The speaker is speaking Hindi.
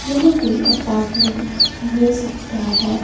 यहं कोई अपार्टमेंट भी हो सकता हैं।